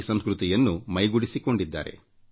P ಸಂಸ್ಕೃತಿಯನ್ನು ಮೈಗೂಡಿಸಿಕೊಂಡಿರುತ್ತಾರೆ